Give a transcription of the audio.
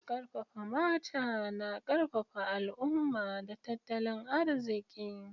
Karfafa mata na karfafa al'umma da tattalin arziki.